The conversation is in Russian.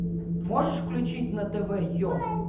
можешь включить на тв е